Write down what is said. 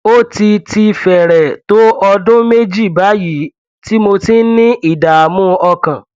ó ti ti fẹrẹẹ tó ọdún méjì báyìí tí mo ti ń ní ìdààmú ọkàn